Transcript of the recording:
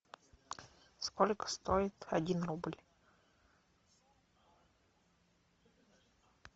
сколько стоит один рубль